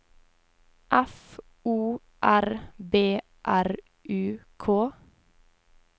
F O R B R U K